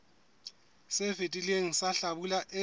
se fetileng sa hlabula e